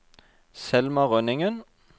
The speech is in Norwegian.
Selma Rønningen